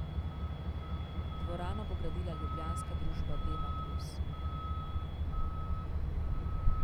Dvorano bo gradila ljubljanska družba Dema plus.